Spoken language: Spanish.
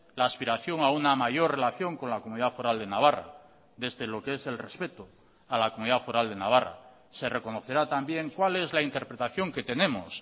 la aspiración a una mayor relación con la comunidad foral de navarra desde lo que es el respeto a la comunidad foral de navarra se reconocerá también cuál es la interpretación que tenemos